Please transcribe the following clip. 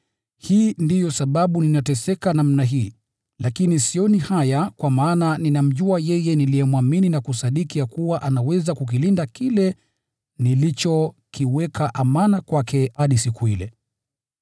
Hii ndiyo sababu ninateseka namna hii, lakini sioni haya kwa maana ninamjua yeye niliyemwamini, na kusadiki ya kuwa anaweza kukilinda kile nilichokiweka amana kwake hadi siku ile.